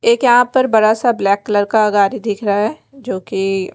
एक यहाँ पर बड़ा सा ब्लैक कलर का गाड़ी दिख रहा है जो कि--